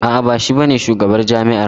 A'a ba shi ba ne shugabar jami'ar mu ba.